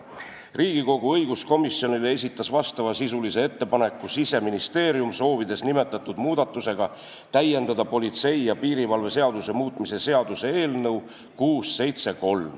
Riigikogu õiguskomisjonile esitas vastavasisulise ettepaneku Siseministeerium, soovides nimetatud muudatusega täiendada politsei ja piirivalve seaduse muutmise seaduse eelnõu 673.